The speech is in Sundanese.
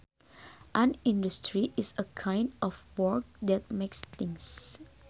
An industry is a kind of work that makes things